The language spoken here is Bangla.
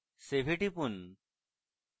save এ টিপুন